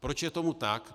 Proč je tomu tak?